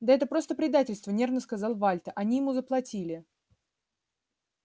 да это просто предательство нервно сказал вальто они ему заплатили